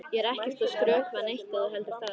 Ég er ekkert að skrökva neitt ef þú heldur það.